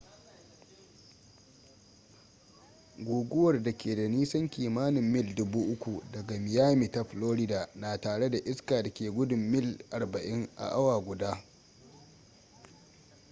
guguwar da ke da nisan kimanin mil 3,000 daga miami ta florida na tare da iska da ke gudun mil 40 a awa guda 64 kph